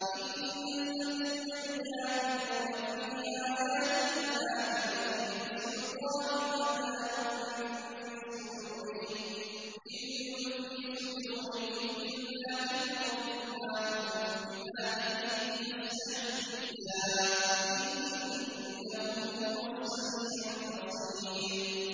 إِنَّ الَّذِينَ يُجَادِلُونَ فِي آيَاتِ اللَّهِ بِغَيْرِ سُلْطَانٍ أَتَاهُمْ ۙ إِن فِي صُدُورِهِمْ إِلَّا كِبْرٌ مَّا هُم بِبَالِغِيهِ ۚ فَاسْتَعِذْ بِاللَّهِ ۖ إِنَّهُ هُوَ السَّمِيعُ الْبَصِيرُ